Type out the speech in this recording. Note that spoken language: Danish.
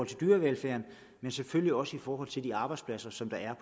til dyrevelfærden men selvfølgelig også i forhold til de arbejdspladser som der er